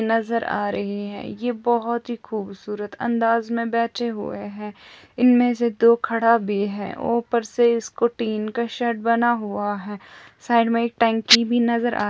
आ रहा है जहाँ पे बहुत सारे बहन से दिखाई दे रही है जिनकी बहुत बडी बडी सॅान्ग रही है। ये बहुत ही खूबसूरत अंदाज में बैठे हुए हैं। इनमें से दो खडा भी है। ऊपर से इसको तीन का शर्ट बना हुआ है। साइड फॅमिली भी नजर--